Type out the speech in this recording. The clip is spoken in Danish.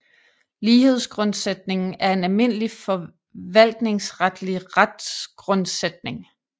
Lighedsgrundsætningen er en almindelig forvaltningsretlig retsgrundsætning